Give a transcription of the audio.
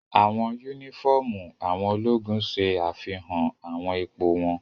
Awọn unifọmú awọn ologun ṣe afihan awọn ipo wọn